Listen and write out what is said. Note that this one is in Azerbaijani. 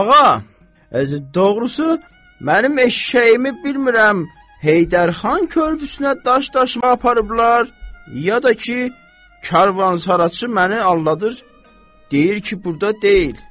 Ağa, doğrusu mənim eşşəyimi bilmirəm Heydər xan körpüsünə daş daşıma aparıblar ya da ki, karvansaraçı məni aldadır, deyir ki, burda deyil.